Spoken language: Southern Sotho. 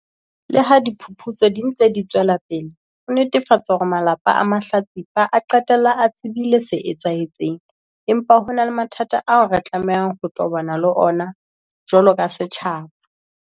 Leha diphuputso di ntse di tswela pele ho netefatsa hore malapa a mahlatsipa a qetella a tsebile se etsahetseng, empa ho na le mathata ao re tlamehang ho tobana le ona jwalo ka setjhaba.